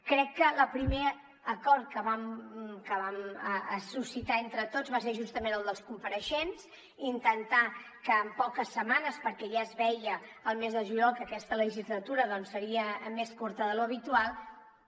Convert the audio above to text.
crec que el primer acord que vam suscitar entre tots va ser justament el dels compareixents intentar que en poques setmanes perquè ja es veia el mes de juliol que aquesta legislatura seria més curta de l’habitual